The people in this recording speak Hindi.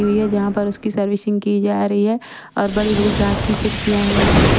हुई है जहां पर उसकी सर्विसिंग की जा रही है और बड़ी बड़ी कांच की खिड़किया है ।